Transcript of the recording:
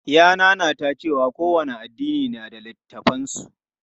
Ya nanata cewa kowane addini na da littafan su.